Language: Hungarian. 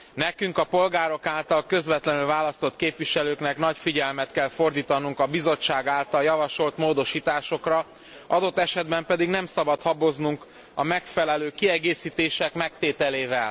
Nekünk, a polgárok által közvetlenül választott képviselőknek nagy figyelmet kell fordítanunk a Bizottság által javasolt módosításokra, adott esetben pedig nem szabad haboznunk a megfelelő kiegészítések megtételével.